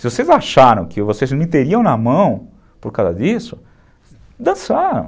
Se vocês acharam que vocês me teriam na mão por causa disso, dançaram.